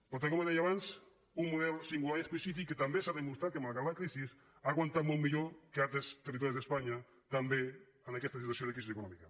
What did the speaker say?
per tant com deia abans un model singular i específic que també s’ha demostrat que malgrat la crisi ha aguantat molt millor que en altres territoris d’espanya també en aquesta situació de crisi econò·mica